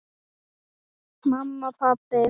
Mamma. pabbi.